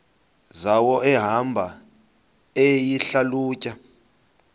zawo ehamba eyihlalutya